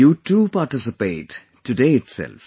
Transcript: You too participate today itself